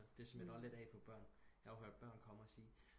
Det smitter også lidt af på børn jeg har hørt børn komme og sige